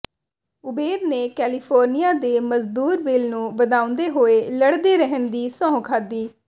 Uber ਨੇ California ਦੇ ਮਜ਼ਦੂਰ ਬਿੱਲ ਨੂੰ ਵਧਾਉਂਦੇ ਹੋਏ ਲੜਦੇ ਰਹਿਣ ਦੀ ਸਹੁੰ ਖਾਧੀ